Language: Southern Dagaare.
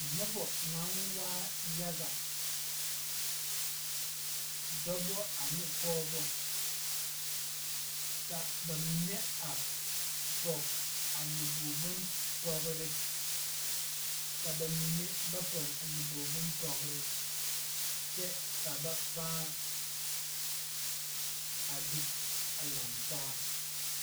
Nobɔ naŋ waa yaga dɔbɔ ane pɔɔbɔ ka ba mine a pɔge a nyoboge bonpɔgrre ka ba mine ba pɔge a nyoboge bonpɔgrre kyɛ ka ba pãã a be a laŋtaa.